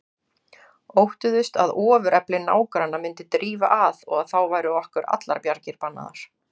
Óttuðust að ofurefli nágranna myndi drífa að og að þá væru okkur allar bjargir bannaðar.